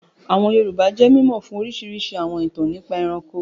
Àwọn Yorùbá jẹ́ mímọ̀ fún orísirísi àwọn ìtàn nípa ẹranko